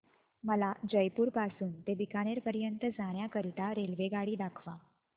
मला जयपुर पासून ते बीकानेर पर्यंत जाण्या करीता रेल्वेगाडी दाखवा